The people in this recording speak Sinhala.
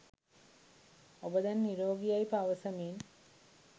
ඔබ දැන් නිරෝගි යැයි පවසමින්